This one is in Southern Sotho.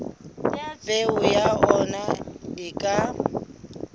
peo ya ona e ka